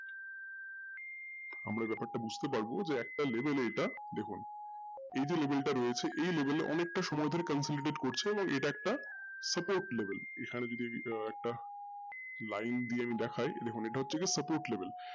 আমরা ব্যাপারটা বুজতে পারবো যে একটা level এটা দেখুন এইযে level টা রয়েছে এই level অনেকটা সময় ধরে complicated করছে এবং এটা একটা support level এখন যদি একটা line দিয়ে দেখায় দেখুন এটা হচ্ছে যে support level